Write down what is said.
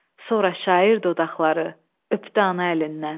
Sonra şair dodaqları öpdü ana əlindən.